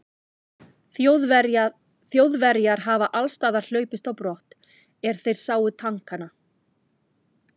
Þjóðverjar hafi allsstaðar hlaupist á brott, er þeir sáu tankana.